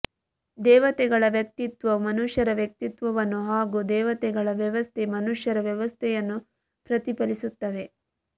ದೇವತೆಗಳ ವ್ಯಕ್ತಿತ್ವವು ಮನುಷ್ಯರ ವ್ಯಕ್ತಿತ್ವವನ್ನು ಹಾಗೂ ದೇವತೆಗಳ ವ್ಯವಸ್ಥೆ ಮನುಷ್ಯರ ವ್ಯವಸ್ಥೆಯನ್ನು ಪ್ರತಿಫಲಿಸುತ್ತವೆ